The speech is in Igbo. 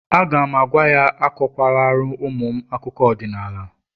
A ga'm-agwa ya, akụkwa lara ụmụ m akụkọ ọdịnala